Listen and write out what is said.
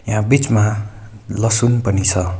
यहाँ बीचमा लसुन पनि छ।